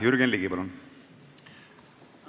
Jürgen Ligi, palun!